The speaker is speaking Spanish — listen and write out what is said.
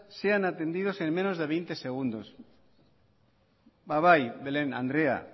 sean atendidas en menos de veinte segundos ba bai belen andrea